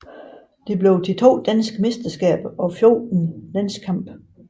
Det blev til to danske mesterskaber og 14 landskampe